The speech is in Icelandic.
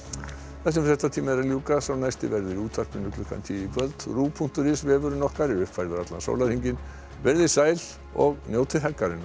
þessum fréttatíma er að ljúka sá næsti verður í útvarpi klukkan tíu í kvöld punktur is vefurinn okkar er uppfærður allan sólarhringinn verið þið sæl og njótið helgarinnar